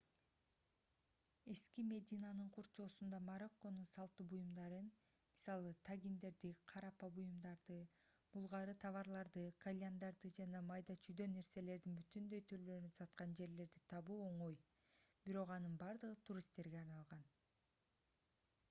эски мединанын курчоосунда марокконун салтуу буюмдарын мисалы тагиндерди карапа буюмдарды булгаары товарларды кальяндарды жана майда-чүйдө нерселердин бүтүндөй түрлөрүн саткан жерлерди табуу оңой бирок анын бардыгы туристтерге арналган